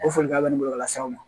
O folikan bɛ nin bɔlɔlɔ la saw